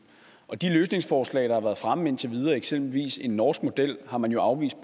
og de løsningsforslag der har været fremme indtil videre eksempelvis en norsk model har man jo